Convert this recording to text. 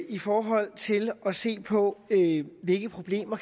i forhold til at se på hvilke problemer